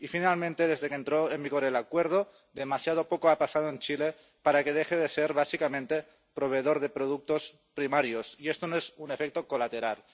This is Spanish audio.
Y, finalmente, desde que entró en vigor el Acuerdo demasiado poco ha pasado en Chile para que deje de ser básicamente proveedor de productos primarios, y esto no es un efecto colateral.